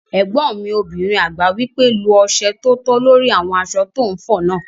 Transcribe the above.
Ẹ̀gbọ́n mi obìnrin àgbà wí pé "lo ọsẹ tótó lórí àwọn aṣọ tó n fọ náà!"